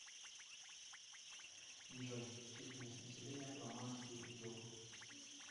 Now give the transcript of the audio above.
джой численность населения фламандский регион